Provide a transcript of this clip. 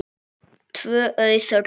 Tvö auð rúm.